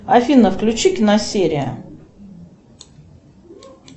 афина включи киносерия